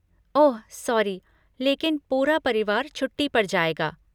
ओह, sorry, लेकिन पूरा परिवार छुट्टी पर जाएगा।